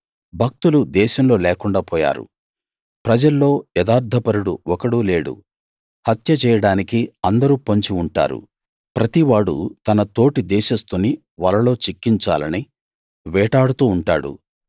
భక్తులు దేశంలో లేకుండా పోయారు ప్రజల్లో యథార్థపరుడు ఒకడూ లేడు హత్య చేయడానికి అందరూ పొంచి ఉంటారు ప్రతివాడూ తన తోటి దేశస్థుని వలలో చిక్కించాలని వేటాడుతూ ఉంటాడు